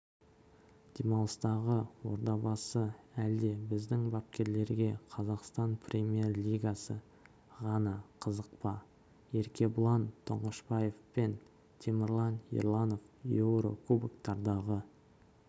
демалыстағы ордабасы әлде біздің бапкерлерге қазақстан премьер-лигасы ғана қызық па аеркебұлан тұңғышбаев пен темірлан ерланов еурокубоктардағы